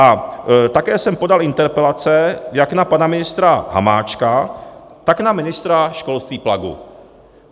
A také jsem podal interpelace jak na pana ministra Hamáčka, tak na ministra školství Plagu.